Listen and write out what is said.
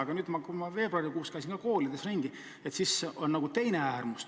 Aga kui ma veebruarikuus koolides ringi käisin, siis on näha nagu teist äärmust.